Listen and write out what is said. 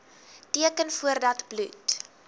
teken voordat bloed